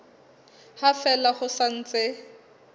ha fela ho sa ntse